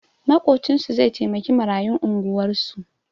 Maƙocinsu zai taimaki marayun unguwarsu